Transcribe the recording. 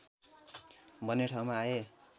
भन्ने ठाउँमा आए